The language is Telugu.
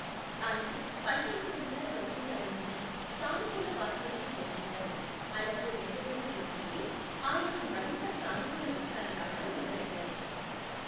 ఆయన పంతొమ్మిది వందల తొంభై ఆరు నుండి సానుకూల పాత్రలను పోషించారు, అలాగే రెండు వేల ఏడు నుండి ఆయనకు మరింత సానుకూల వేషాలు రావడం మొదలయ్యాయి.